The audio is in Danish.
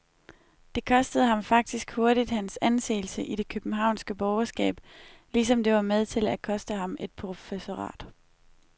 Det kostede ham faktisk hurtigt hans anseelse i det københavnske borgerskab, ligesom det var med til at koste ham et professorat.